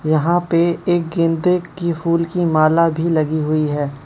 यहां पे एक गेंदे की फूल की माला भी लगी हुई है।